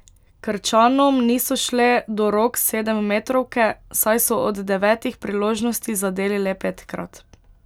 Krčanom niso šle do rok sedemmetrovke, saj so od devetih priložnosti zadeli le petkrat.